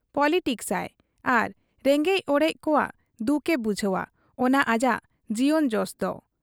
Politics ᱟᱭ ᱟᱨ ᱨᱮᱸᱜᱮᱡ ᱚᱨᱮᱡ ᱠᱚᱣᱟᱜ ᱫᱩᱠ ᱮ ᱵᱩᱡᱷᱟᱹᱣ ᱟ, ᱚᱱᱟ ᱟᱡᱟᱜ ᱡᱤᱭᱚᱱ ᱡᱚᱥᱫᱚ ᱾